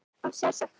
Á sjálfsagt kött.